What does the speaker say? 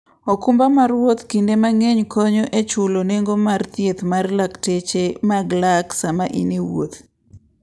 okumba mar wuoth kinde mang'eny konyo e chulo nengo mag thieth mar lakteche mag lak sama in e wuoth.